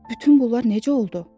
Bütün bunlar necə oldu?